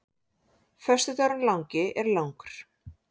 Föstudagurinn langi er langur.